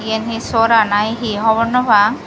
eyen he sora na he hobor no pang.